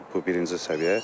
Bu birinci səviyyə.